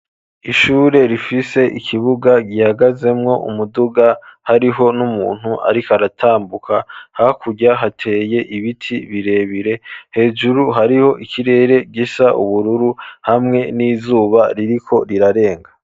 Ishure rifise ikibuga gihagazemwo umuduga hariho n'umuntu ariko aratambuka, hakurya hateye ibiti birebire, hejuru hariho ikirere gisa ubururu hamwe n'izuba ririko rirarenga.